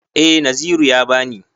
Eh Naziru ya ba ni.